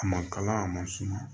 A ma kala a ma suma